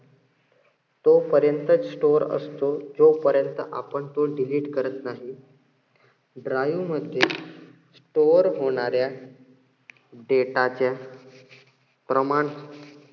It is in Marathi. तो पर्यंत store असतो, जोपर्यंत आपण तो delete करत नाही. drive मध्ये store होणाऱ्या data चे प्रमाण